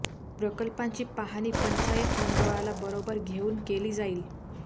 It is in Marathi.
प्रकल्पांची पाहणी पंचायत मंडळाला बरोबर घेऊन केली जाईल